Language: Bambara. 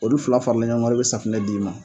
Olu fila faralen ɲɔɔn ŋa de be safunɛ d'i ma